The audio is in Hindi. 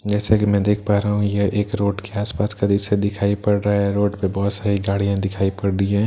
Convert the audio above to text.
जैसा कि मैं देख पा रहा हूं यह एक रोड के आस-पास का दृश्‍य दिखाई पड़ रहा है रोड पे बहुत सारी गाडि़यां दिखाई पड़ रही है सामने --